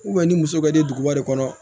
ni muso bɛ duguba de kɔnɔ